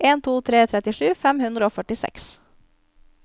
en to tre tre trettisju fem hundre og førtiseks